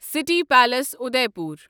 city palace Udaipur